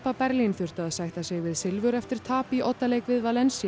Berlín þurftu að sætta sig við silfur eftir tap í oddaleik við